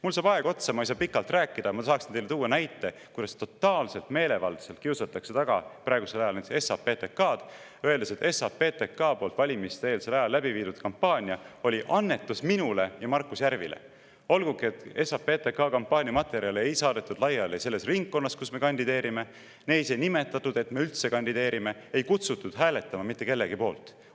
Mul saab aeg otsa, ma ei saa pikalt rääkida, aga ma tahaksin teile tuua näite, kuidas totaalselt meelevaldselt kiusatakse taga praegusel ajal SAPTK‑d, öeldes, et SAPTK poolt valimiste-eelsel ajal läbi viidud kampaania oli annetus minule ja Markus Järvile, olgugi et SAPTK kampaaniamaterjale ei saadetud laiali selles ringkonnas, kus me kandideerime, neis ei nimetatud, et me üldse kandideerime, ega kutsutud hääletama mitte kellegi poolt.